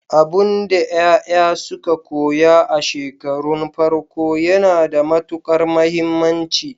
Abinda yaya suka koya a shekarun farko yana da matukar muhimmanci.